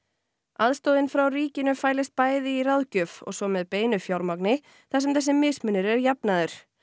aðstoðin frá ríkinu fælist bæði í ráðgjöf og svo með beinu fjármagni þar sem þessi mismunur er jafnaður